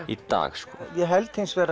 í dag ég held